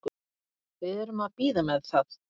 Við erum að bíða með það.